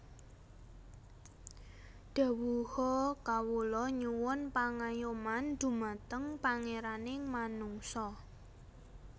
Dhawuha Kawula nyuwun pangayoman dhumateng Pangeraning manungsa